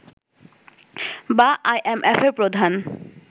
বা আইএমএফের প্রধান